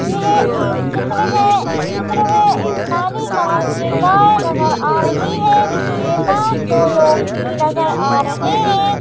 यह एक चित्र है इस चित्र में एक काली कलर की गाय नजर आ रही है जिसके पास दो लोग भी नजर आ रहे हैं।